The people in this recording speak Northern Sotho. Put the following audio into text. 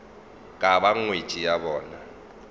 ka ba ngwetši ya bona